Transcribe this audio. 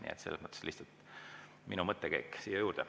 Nii et see oli lihtsalt minu mõttekäik siia juurde.